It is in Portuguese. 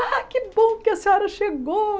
Ah, que bom que a senhora chegou.